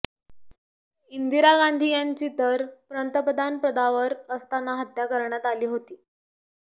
इंदिरा गांधी यांची तर पंतप्रधानपदावर असताना हत्या करण्यात आली होती